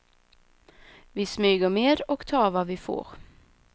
Vi smyger med och tar vad vi får.